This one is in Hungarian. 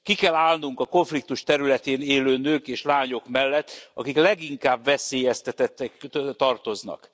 Ki kell állnunk a konfliktus területén élő nők és lányok mellett, akik a leginkább veszélyeztetettek közé tartoznak.